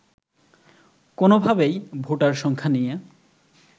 কোনোভাবেই ভোটার সংখ্যা নিয়ে